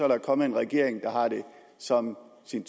der kommet en regering der har det som sin